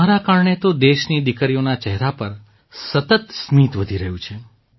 તમારા કારણે તો દેશની દીકરીઓના ચહેરા પર સતત સ્મિત વધી રહ્યું છે